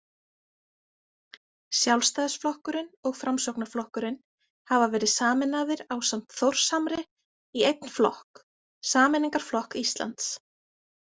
Sjálfstæðisflokkurinn og Framsóknarflokkurinn hafa verið sameinaðir ásamt Þórshamri í einn flokk, Sameiningarflokk Íslands.